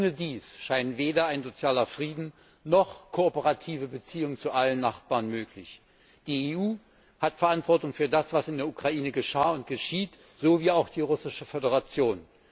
Ohne dies scheinen weder ein sozialer Frieden noch kooperative Beziehungen zu allen Nachbarn möglich. Die EU hat Verantwortung für das, was in der Ukraine geschah und geschieht, so wie auch die Russische Föderation.